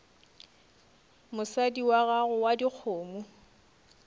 mosadi wa gago wa dikgomo